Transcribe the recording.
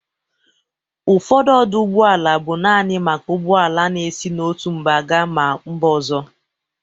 Ụfọdụ ọdụ ụgbọala bụ nanị maka ụgbọala na-esi n'otu mba ga ma mba ọzọ.